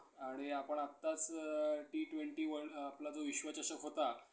आणि आपण आताच T-twenty one आपला जो विश्व् चषक होता